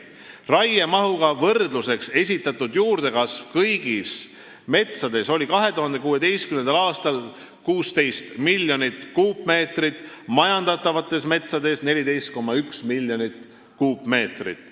Raiemahuga võrdluseks esitatud juurdekasv kõigis metsades oli 2016. aastal 16 miljonit tihumeetrit, majandatavates metsades 14,1 miljonit tihumeetrit.